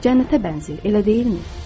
Cənnətə bənzəyir, elə deyilmi?